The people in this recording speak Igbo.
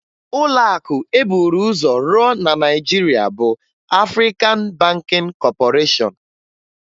Ụlọakụ e buru ụzọ rụọ na Naịjirịa bụ Afrịkan Bankịn Kọpọreshọn